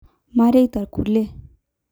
Mareita kulie